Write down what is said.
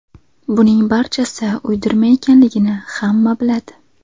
Buning barchasi uydirma ekanligini hamma biladi!